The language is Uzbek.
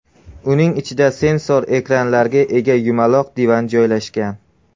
Uning ichida sensor ekranlarga ega yumaloq divan joylashgan.